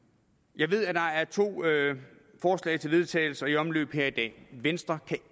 jeg ved at der er to forslag til vedtagelse i omløb her i dag venstre kan